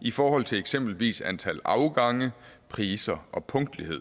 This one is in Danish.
i forhold til eksempelvis antal afgange priser og punktlighed